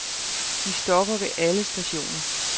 De stopper ved alle stationer.